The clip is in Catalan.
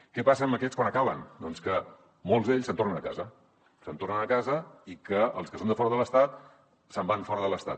què passa amb aquests quan acaben doncs que molts d’ells se’n tornen a casa se’n tornen a casa i els que són de fora de l’estat se’n van fora de l’estat